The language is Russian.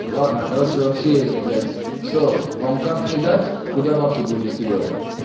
ладно короче вообще этот блять что вам карту кидать куда бабки будете скидывать